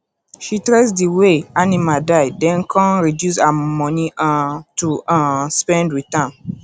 she trace di way animals die den come reduce her money um to um spend with am